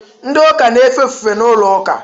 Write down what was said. Ndị Ụka na-efe ofufe n’ụlọụka